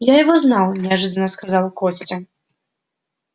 я его знал неожиданно сказал костя